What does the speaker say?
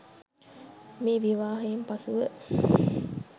මේ විවාහයෙන් පසුව